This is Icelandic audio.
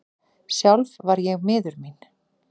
Sjálf var ég miður mín.